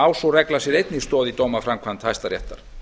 á sú regla sér einnig stoð í dómaframkvæmd hæstaréttar